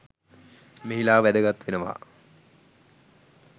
මෙහිලා වැදගත් වෙනවා.